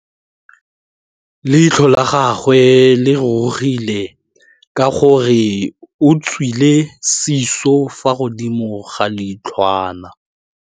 Leitlhô la gagwe le rurugile ka gore o tswile sisô fa godimo ga leitlhwana.